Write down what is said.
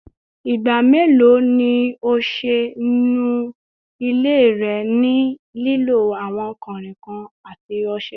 Igba melo ni o ṣe nu ile rẹ ni lilo awọn kanrinkan ati ọṣẹ?